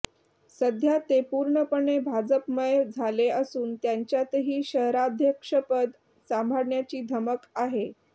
सध्या ते पुर्णपणे भाजपमय झाले असून त्यांच्यातही शहराध्यक्षपद सांभाळण्याची धमक आहे